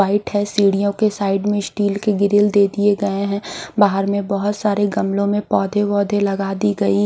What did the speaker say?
white है सीढियों की साइड मे स्टील के ग्रील दे दिए गए है बहार में बहुत सारे गमलों मे पौधे वोधे लगा दी गई--